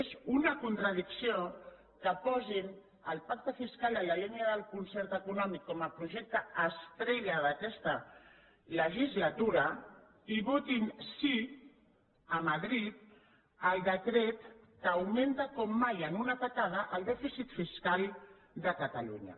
és una contra dicció que posin el pacte fiscal en la línia del concert econòmic com a projecte estrella d’aquesta legislatura i votin sí a madrid al decret que augmenta com mai en una atacada el dèficit fiscal de catalunya